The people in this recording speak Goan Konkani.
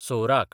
सोवराक